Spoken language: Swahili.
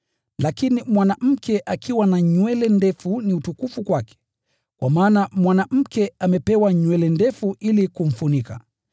Lakini mwanamke akiwa na nywele ndefu ni utukufu kwake? Kwa maana mwanamke amepewa nywele ndefu ili kumfunika.